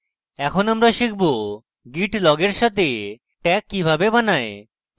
এরপর আমরা শিখব git log এর সাথে tags কিভাবে বানায়